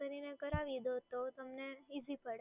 કરીને કરાવી દો તો તમને ઈઝી પડે